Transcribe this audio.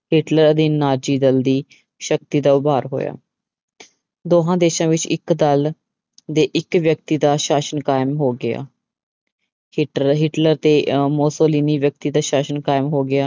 Hitler ਦੇ Nazi ਦਲ ਦੀ ਸ਼ਕਤੀ ਦਾ ਉਬਾਰ ਹੋਇਆ ਦੋਹਾਂ ਦੇਸਾਂ ਵਿੱਚ ਇੱਕ ਦਲ ਦੇ ਇੱਕ ਵਿਅਕਤੀ ਦਾ ਸ਼ਾਸ਼ਨ ਕਾਇਮ ਹੋ ਗਿਆ ਹਿਟਰ, ਹਿਟਲਰ ਤੇ ਅਹ ਮੋਸਲੀਨੀ ਵਿਅਕਤੀ ਦਾ ਸ਼ਾਸ਼ਨ ਕਾਇਮ ਹੋ ਗਿਆ।